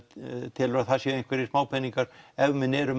telur að það séu einhverjir smápeningar ef menn eru